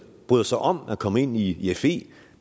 bryder sig om at komme ind i fe